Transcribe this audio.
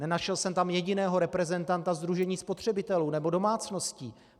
Nenašel jsem tam jediného reprezentanta sdružení spotřebitelů nebo domácností.